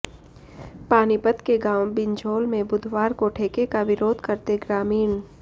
पानीपत के गांव बिंझौल में बुधवार को ठेके का विरोध करते ग्रामीण